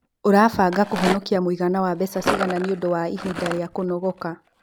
Ũrabanga kũhonokia mũigana wa mbeca ciigana nĩ ũndũ wa ihinda rĩa kũnogoka?